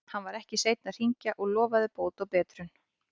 Hann var ekki seinn að hringja og lofaði bót og betrun.